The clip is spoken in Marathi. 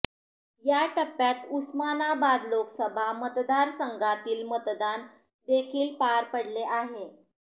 या टप्प्यात उस्मानाबाद लोकसभा मतदारसंघातील मतदान देखील पार पडले आहे